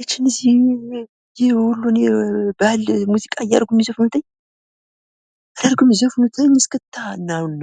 አንተ እንደዚህ! የወሎን የባህል ሙዚቃ አርገው እሚዘፍኑት እይ! አንተ አርገው እሚዘፍኑት እይ! እስክታ ነውና...!!